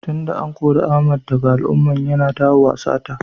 Tun da an kore Ahmed daga al'umman, yana dawowa sata.